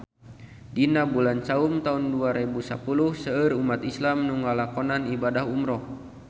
Dina bulan Saum taun dua rebu sapuluh seueur umat islam nu ngalakonan ibadah umrah